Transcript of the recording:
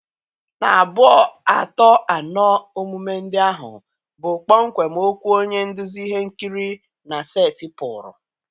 na abuo, ato, ano omume ndị ahụ bụ kpọmkwem okwu onye nduzi ihe nkiri na setịpụrụ.